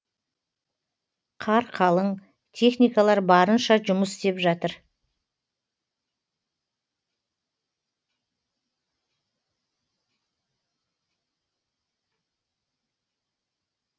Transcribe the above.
қар қалың техникалар барынша жұмыс істеп жатыр